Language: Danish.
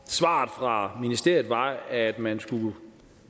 svaret fra ministeriet var at man skulle